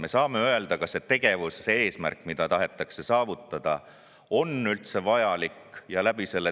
Me saame öelda, kas see tegevuse eesmärk, mida tahetakse saavutada, on üldse vajalik.